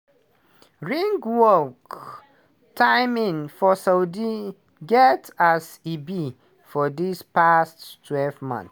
ringwalk timing for saudi get as e be for di past twelve months.